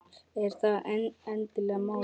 Er það endilega málið?